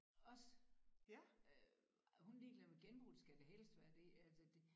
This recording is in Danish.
Også øh hun er lige glad med genbrug skal det helst være det altså det